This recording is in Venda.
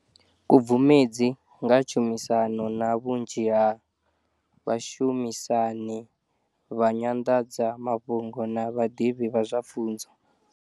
Khubvumedzi nga tshumisano na vhunzhi ha vhashumisani vha nyanḓadzamafhungo na vhaḓivhi vha zwa pfunzo.